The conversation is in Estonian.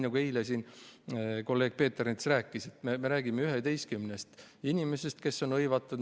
Nagu eile siin kolleeg Peeter Ernits rääkis, jutt on 11 inimesest, kes on seal hõivatud.